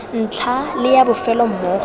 ntlha le ya bofelo mmogo